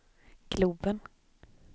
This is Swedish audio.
globen